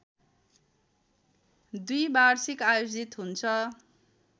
द्विवार्षिक आयोजित हुन्छ